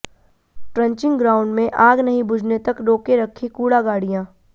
trenching ground में आग नहीं बुझने तक रोके रखीं कूड़ा गाडिय़ां